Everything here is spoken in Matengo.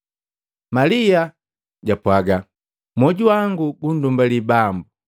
Malia japwaaga, “Mwoju wangu gundumbali Bambu.